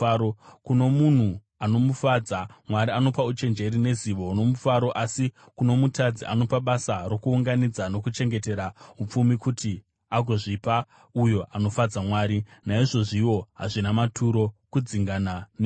Kuno munhu anomufadza, Mwari anopa uchenjeri, nezivo nomufaro asi kuno mutadzi, anopa basa rokuunganidza nokuchengetera upfumi kuti agozvipa uyo anofadza Mwari. Naizvozviwo hazvina maturo, kudzingana nemhepo.